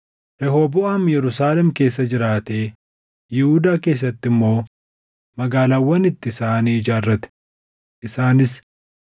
Rehooboʼaam Yerusaalem keessa jiraatee Yihuudaa keessatti immoo magaalaawwan ittisaa ni ijaarrate; isaanis: